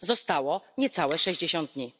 Zostało niecałe sześćdziesiąt dni.